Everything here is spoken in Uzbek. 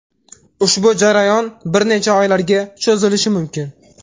Ushbu jarayon bir necha oylarga cho‘zilishi mumkin.